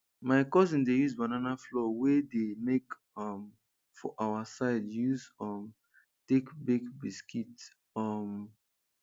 my cousin dey use banana flour wey de make um for our side use um take bake biscuit um